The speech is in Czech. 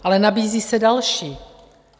Ale nabízí se další.